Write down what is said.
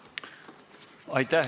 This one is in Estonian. Aitäh!